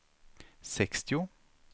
sextio